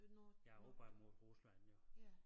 Ja opad mod Rusland jo